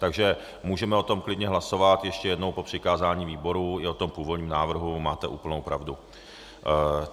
Takže můžeme o tom klidně hlasovat ještě jednou - o přikázání výboru i o tom původním návrhu, máte úplnou pravdu.